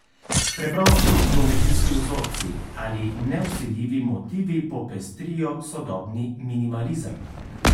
Preprosti geometrijski vzorci ali nevsiljivi motivi popestrijo sodobni minimalizem.